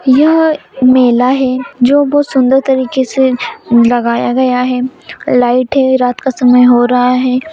यह मेला है जो बहोत सुंदर तरीके से लगाया गया है लाइट है रात का समय हो रहा है।